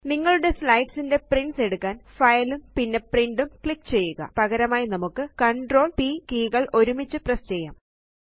നിങ്ങളുടെ സ്ലൈഡ്സ് ന്റെ പ്രിന്റ്സ് എടുക്കാന് ഫൈൽ ഉം പിന്നെ പ്രിന്റ് ഉം ക്ലിക്ക് ചെയ്യുക പകരമായി നമുക്ക് CTRL P കീകൾ ഒരുമിച്ച് പ്രസ് ചെയ്യാം